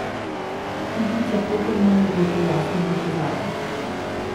Igrica pokemoni je to jasno dokazala.